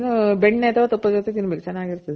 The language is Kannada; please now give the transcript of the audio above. ಅದಕ್ಕೆ combination ಬೆಣ್ಣೆ ಅಥವಾ ತುಪ್ಪದ್ ಜೊತೆ ತಿನ್ಬೇಕು ಚೆನಾಗಿರ್ತದೆ